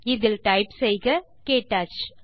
இதில் டைப் செய்க க்டச்